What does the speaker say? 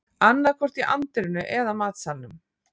Annaðhvort í anddyrinu eða matsalnum